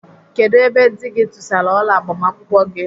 Kedụ ebe dị gị tụsara ọla agbamakwụkwọ gị?